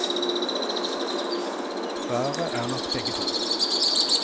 Svaret er nok begge to.